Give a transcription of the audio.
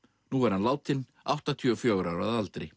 nú er hann látinn áttatíu og fjögurra ára að aldri